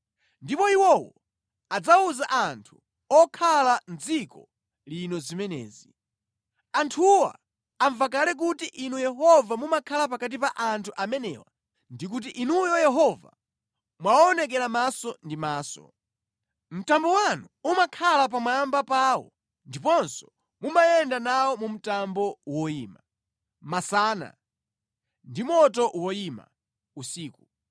Ndipo iwowo adzawuza anthu okhala mʼdziko lino zimenezi. Anthuwa amva kale kuti Inu Yehova mumakhala pakati pa anthu amenewa ndi kuti Inuyo Yehova mwawaonekera maso ndi maso. Mtambo wanu umakhala pamwamba pawo ndiponso mumayenda nawo mu mtambo woyima, masana ndi moto woyima, usiku.